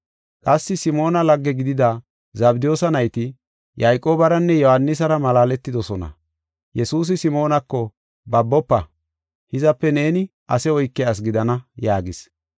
Qassi Simoona lagge gidida Zabdiyoosa nayti Yayqoobaranne Yohaanisara malaaletidosona. Yesuusi Simoonako, “Babofa! Hizape neeni ase oykiya asi gidana” yaagis.